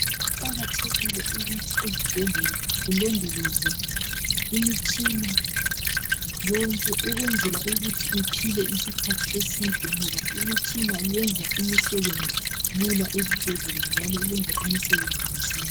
Kuqakathekile ukuthi ezibhedlela kulondolozwe imitshina yonke, ukwenzela ukuthi iphile isikhathi eside ngoba imitshina yenza imisebenzi lula ezibhedlela njalo yenza imisebenzi masinya.